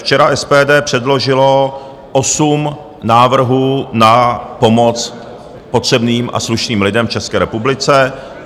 Včera SPD předložilo osm návrhů na pomoc potřebným a slušným lidem v České republice.